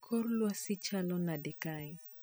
Kor lwasi chalo nade kae